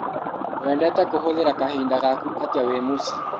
Wendete kũhũthĩra kahinda gaku atĩa wĩ mũcii?